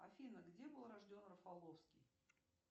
афина где был рожден рафаловский